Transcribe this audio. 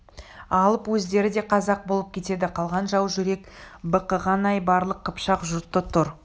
алып өздері де қазақ болып кетеді қалған жау жүрек бықыған айбарлы қыпшақ жұрты тұр